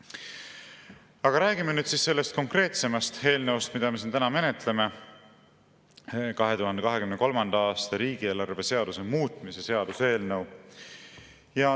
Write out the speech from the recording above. Aga räägime nüüd konkreetsest eelnõust, mida me siin täna menetleme: 2023. aasta riigieelarve seaduse muutmise seaduse eelnõu.